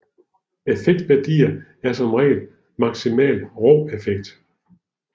Effektværdier er som regel maksimal rå effekt